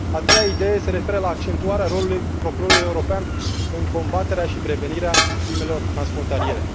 A treia idee se referă la accentuarea rolului Procurorului European în combaterea și prevenirea crimelor transfrontaliere.